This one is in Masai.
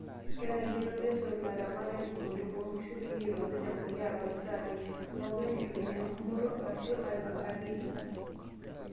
Kenarikino nesot ilaramatak imodiok oonkishu peyie eitobir empulia too sai pookin, aitumia engumoto arashu aipanga meilepa.